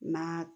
N'a